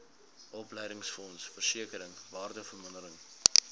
opleidingsfonds versekering waardevermindering